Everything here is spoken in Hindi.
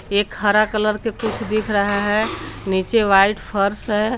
एक हरा कलर के कुछ दिख रहा है नीचे वाइट फर्श है।